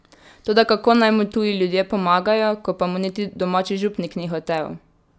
Toda kako naj mu tuji ljudje pomagajo, ko pa mu niti domači župnik ni hotel?